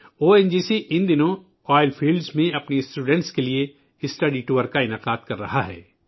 او N G C ان دنوں oil fields اپنے طلباء کے لیے میں مطالعاتی دوروں کا اہتمام کر رہا ہے